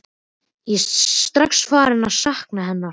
Ég er strax farinn að sakna hennar.